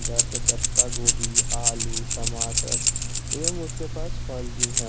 जैसे पत्ता गोभी आलू टमाटर एवं उसके पास फल भी है।